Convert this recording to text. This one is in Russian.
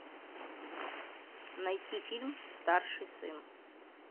найти фильм старший сын